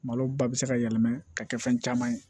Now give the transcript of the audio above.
Malo ba bɛ se ka yɛlɛma ka kɛ fɛn caman ye